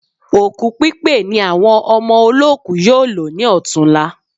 Òkú pípé ni àwọn ọmọ olóòku yóò lò ní ọ̀tunla